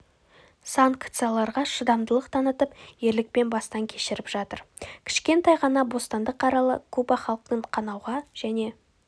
санкцияларға шыдамдылық танытып ерлікпен бастан кешіріп жатыр кішкентай ғана бостандық аралы куба халқын қанауға және